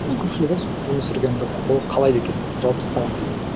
көпшілігі өмір сүргенді қалайды екен жауып тастаған күйінде